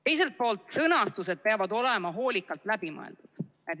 Teiselt poolt, sõnastused peavad olema hoolikalt läbi mõeldud.